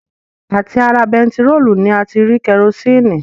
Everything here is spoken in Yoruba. À ti ara bentiróòlù ni a ti rí kerosini